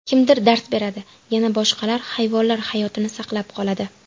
Kimdir dars beradi, yana boshqalar hayvonlar hayotini saqlab qoladi.